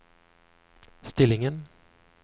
stillingen